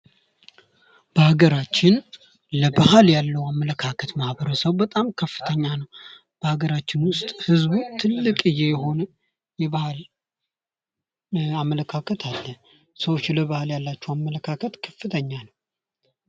በሀገራችን ለባህል ያለዉ አመለካከት ማህበረሰቡ በጣም ከፍተኛ ነዉ። በሀገራችን ዉስጥ ህዝቡ ትልቅየ የሆነ የባህል አመለካከት አለ። ሰዎች ለባህል ያላቸዉ አመለካከት ከፍተኛ ነዉ።